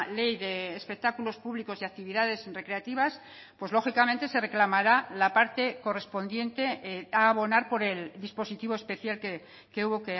ley de espectáculos públicos y actividades recreativas pues lógicamente se reclamará la parte correspondiente a abonar por el dispositivo especial que hubo